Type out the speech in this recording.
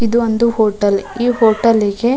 ಇದು ಒಂದು ಹೊಟೆಲ್ ಈ ಹೊಟೆಲ್ ಗೆ --